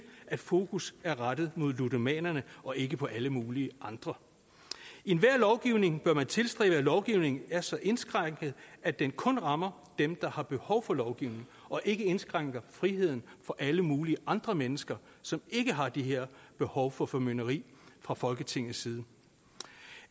at fokus er rettet mod ludomanerne og ikke på alle mulige andre i enhver lovgivning bør man tilstræbe at lovgivningen er så indskrænkende at den kun rammer dem der har behov for lovgivningen og ikke indskrænker friheden for alle mulige andre mennesker som ikke har det her behov for formynderi fra folketingets side